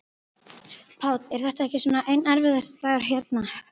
Páll: Er þetta ekki svona einn erfiðasti dagurinn hérna, lengi?